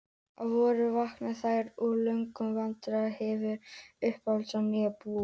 Að vori vakna þær úr löngum vetrardvalanum og hefja uppbyggingu á nýju búi.